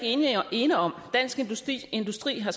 ene om dansk industri industri har